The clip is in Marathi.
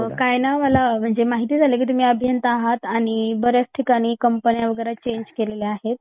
अ काय नाय मला माहीत झाल की तुम्ही अभियंता आहात आणि बऱ्याच ठिकाणी कंपन्या वैगरे चेंज केलेल्या आहेत